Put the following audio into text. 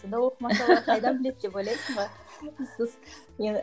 сонда оқымаса олар қайдан біледі деп ойлайсың ба